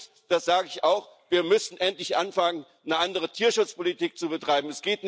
Und das sage ich auch wir müssen endlich anfangen, eine andere Tierschutzpolitik zu betreiben.